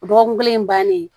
O dɔgɔkun kelen bannen